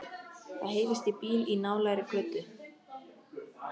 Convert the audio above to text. Það heyrist í bíl í nálægri götu.